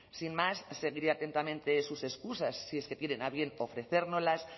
sin más seguiré atentamente sus excusas si es que tienen a bien ofrecérnoslas